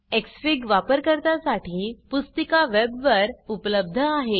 Xfig वापरकर्ता साठी पुस्तिका वेबवर उपलब्ध आहे